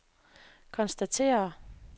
konstaterer